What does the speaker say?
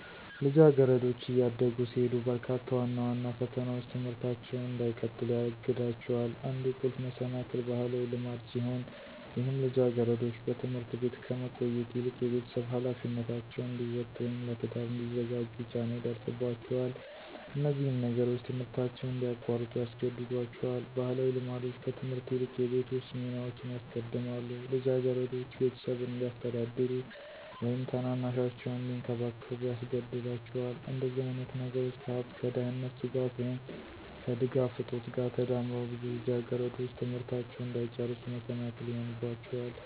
ልጃገረዶች እያደጉ ሲሄዱ በርካታ ዋና ዋና ፈተናዎች ትምህርታቸውን እንዳይቀጥሉ ያግዳቸዋል። አንዱ ቁልፍ መሰናክል ባህላዊ ልማድ ሲሆን ይህም ልጃገረዶች በትምህርት ቤት ከመቆየት ይልቅ የቤተሰብ ኃላፊነታቸውን እንዲወጡ ወይም ለትዳር እንዲዘጋጁ ጫና ይደርስባቸዋል። እነዚህም ነገሮች ትምህርታቸውን እንዲያቋርጡ ያስገድዷቸዋል። ባህላዊ ልማዶች ከትምህርት ይልቅ የቤት ውስጥ ሚናዎችን ያስቀድማሉ፣ ልጃገረዶች ቤተሰብን እንዲያስተዳድሩ ወይም ታናናሻቸውን እንዲንከባከቡ ያስገዳቸዋል። እንደዚህ አይነት ነገሮች ከሃብት፣ ከደህንነት ስጋት፣ ወይም ከድጋፍ እጦት ጋር ተዳምረው ብዙ ልጃገረዶች ትምህርታቸውን እንዳይጨርሱ መሰናክል ይሆንባቸዋል።